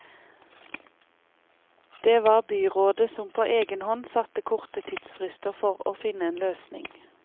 Det var byrådet som på egen hånd satte korte tidsfrister for å finne en løsning.